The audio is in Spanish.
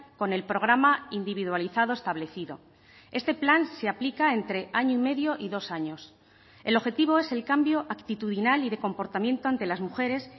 con el programa individualizado establecido este plan se aplica entre año y medio y dos años el objetivo es el cambio actitudinal y de comportamiento ante las mujeres